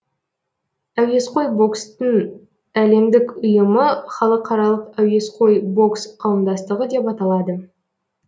әуесқой бокстың әлемдік ұйымы халықаралық әуесқой бокс қауымдастығы деп аталады